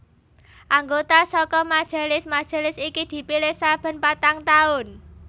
Anggota saka majelis majelis iki dipilih saben patang taun